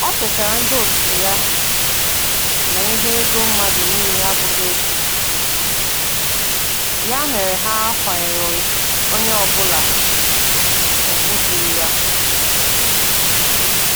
O chetara ndị otu ya na ihe ego mmadụ niile abụghị otu, ya mere ha kwanyere onye ọ bụla ugwu dịrị ya.